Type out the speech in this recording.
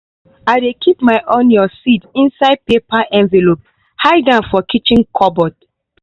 i dey keep my onion seeds inside paper envelope hide am for kitchen cupboard.